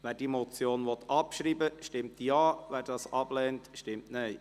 Wer diese Motion abschreiben will, stimmt Ja, wer dies ablehnt, stimmt Nein.